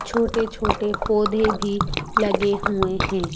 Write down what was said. छोटे-छोटे पौधे भी लगे हुए हैं।